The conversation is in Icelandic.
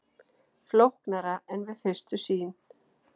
Flóknara en við fyrstu sýn